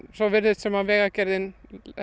svo virðist sem Vegagerðin